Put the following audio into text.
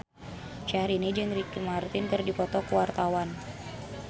Syahrini jeung Ricky Martin keur dipoto ku wartawan